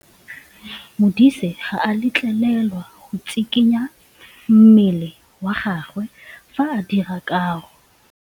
Modise ga a letlelelwa go tshikinya mmele wa gagwe fa ba dira karô.